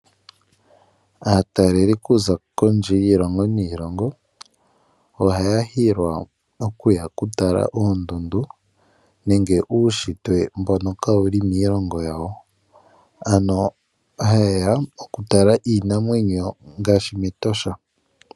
Aataleli okuza kondje yiilongo niilongo ohaya hilwa okuya okutala oondundu nenge uunshitwe mbono kawuli miilongo yawo. Ano oha ye ya okutala iinamwenyo ngaashi, mEtosha.